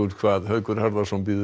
hvað Haukur Harðarson verður